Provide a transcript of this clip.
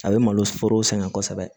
A bɛ malo foro sɛgɛn kosɛbɛ